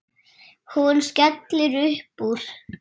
Hún skellir upp úr.